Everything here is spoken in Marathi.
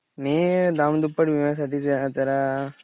मी दाम दुप्पट विम्यासाठी